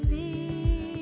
í